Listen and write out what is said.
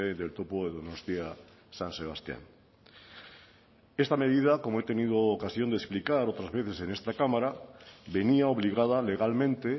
del topo de donostia san sebastián esta medida como he tenido ocasión de explicar otras veces en esta cámara venía obligada legalmente